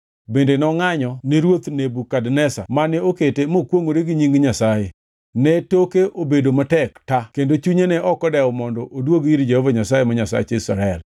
Bende nongʼanyo ni ruoth Nebukadneza mane okete mokwongʼore gi nying Nyasaye. Ne toke obedo matek ta kendo chunye ne ok odewo mondo oduog ir Jehova Nyasaye ma Nyasach Israel.